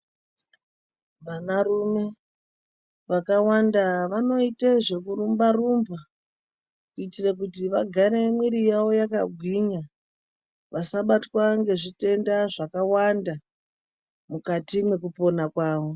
Vanarume vazhinji, vanoite zvekurumba-rumba ,kuitire kuti vagare mwiri yavo yakagwinya, vasabatwa ngezvitenda zvakawanda mukati mwekupona kwavo.